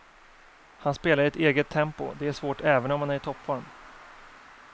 Han spelar i ett eget tempo, det är svårt även om han är i toppform.